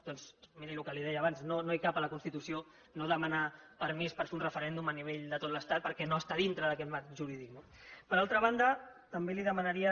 doncs miri el que li deia abans no hi cap a la constitució no demanar permís per fer un referèndum a nivell de tot l’estat perquè no està dintre d’aquest marc jurídic no per altra banda també li demanaria